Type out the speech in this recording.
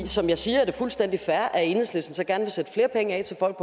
som jeg siger er det fuldstændig fair at enhedslisten så gerne vil sætte flere penge af til folk